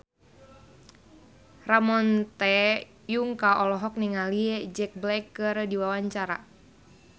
Ramon T. Yungka olohok ningali Jack Black keur diwawancara